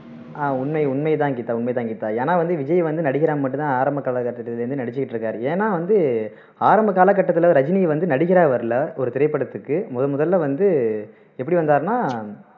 ஆஹ் உண்மை உண்மை தான் கீதா உண்மை தான் கீத ஏன்னா வந்து விஜய் வந்து நடிகரா மட்டும் தான் ஆரம்ப காலக்கட்டத்துல இருந்தே நடிச்சுட்டு இருக்காரு ஏன்னா வந்து ஆரம்ப காலக்கட்டத்துல ரஜினி வந்து நடிகரா வரலை ஒரு திரைப்படத்துக்கு முதமுதல்ல வந்து எப்படி வந்தார்னா